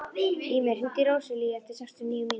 Ýmir, hringdu í Róselíu eftir sextíu og níu mínútur.